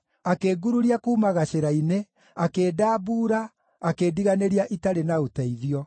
akĩngururia kuuma gacĩra-inĩ, akĩndambuura, akĩndiganĩria itarĩ na ũteithio.